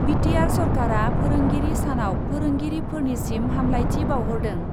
BTR सरकारा फोरोंगिरि सानाव फोरोंगिरिफोरनिसिम हामलायथि बाउहरदों।